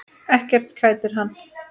Ekkert kætir hann.